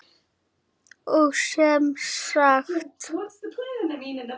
Og sem sagt!